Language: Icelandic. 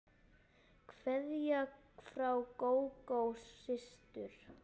Kveðja frá Gógó systur.